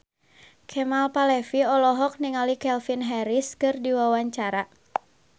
Kemal Palevi olohok ningali Calvin Harris keur diwawancara